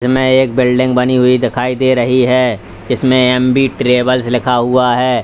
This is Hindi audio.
इसमें एक बिल्डिंग दिखाई दे रही है जिसमें एमबी ट्रैवल्स लिखा हुआ है।